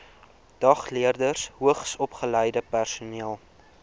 dagleerders hoogsopgeleide personeel